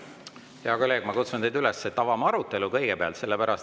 Hea kolleeg, ma kutsun teid üles, et avame kõigepealt arutelu.